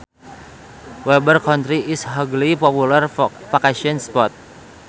Weber County is a hugely popular vacation spot